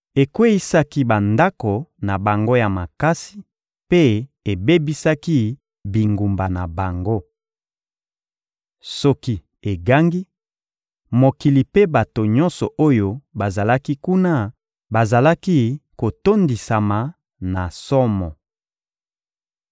Ekweyisaki bandako na bango ya makasi mpe ebebisaki bingumba na bango. Soki egangi, mokili mpe bato nyonso oyo bazalaki kuna bazalaki kotondisama na somo.